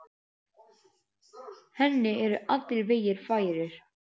Henni eru allir vegir færir.